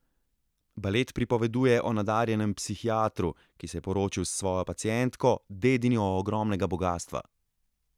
Balet pripoveduje o nadarjenem psihiatru, ki se je poročil s svojo pacientko, dedinjo ogromnega bogastva.